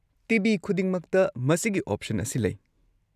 TV. ꯈꯨꯗꯤꯡꯃꯛꯇ ꯃꯁꯤꯒꯤ option ꯑꯁꯤ ꯂꯩ꯫